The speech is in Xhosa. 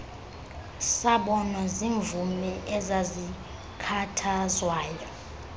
sabonwa ziimvumi ezazikhathazwayo